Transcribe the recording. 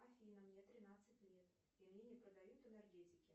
афина мне тринадцать лет и мне не продают энергетики